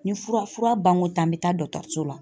Ni fura fura ban ko tan an bɛ tan dɔtɔriso la.